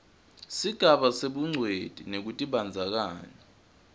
sigaba sebungcweti nekutibandzakanya